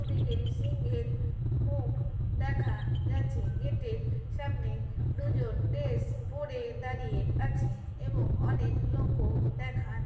ওদিকে সিংহের মুখ দেখা যাচ্ছে। গেটে এর সামনে দুজন ড্রেস পরে দাঁড়িয়ে আছে এবং অনেক লোকও দেখা।